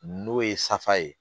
N'o ye safa ye